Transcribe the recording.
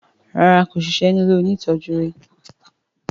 ràrá kò sisẹ́ ní ilẹ òní tọjú rí.